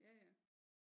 Ja ja